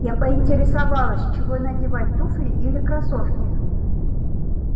я поинтересовалась чего надевать туфли или кроссовки